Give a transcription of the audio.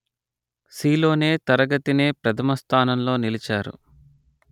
సీలోనే తరగతినే ప్రథమ స్థానంలో నిలిచారు